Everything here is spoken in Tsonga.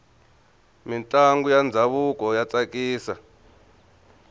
mintlangu ya ndhavuko ya tsakisa